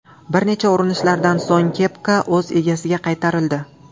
Bir necha urinishlardan so‘ng kepka o‘z egasiga qaytarildi.